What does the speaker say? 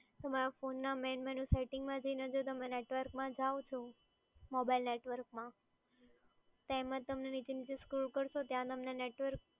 તમારા ફોનના main menu સેટિંગમાં જઈને જો તમે નેટવર્કમાં જાઓ છો મોબાઇલ નેટવર્કમાં તેમાં તમે નીચે નીચે સ્ક્રોલ કરશો ત્યાં તમને નેટવર્ક